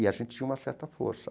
E a gente tinha uma certa força.